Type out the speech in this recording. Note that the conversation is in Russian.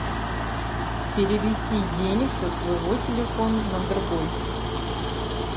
перевести денег со своего телефона на другой